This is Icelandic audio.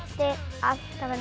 allt